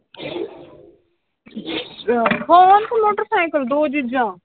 Phone ਤੇ motorcycle ਦੋਏ ਚੀਜ਼ਾਂ?